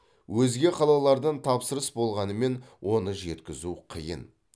өзге қалалардан тапсырыс болғанымен оны жеткізу қиын